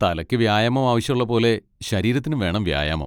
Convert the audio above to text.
തലക്ക് വ്യായാമം ആവശ്യമുള്ള പോലെ ശരീരത്തിനും വേണം വ്യായാമം.